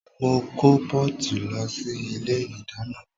Mo kó pọ́ọ̀tì lọ sí ilé ìdáná